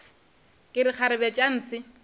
ke re kgarebe tša ntshe